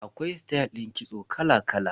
Akwai stayal din kitso kala kala.